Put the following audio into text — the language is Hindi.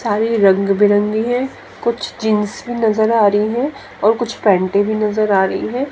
साड़ी रंग बिरंगी हैं कुछ जींस भी नजर आ रही हैं और कुछ पैंटे भी नजर आ रही हैं।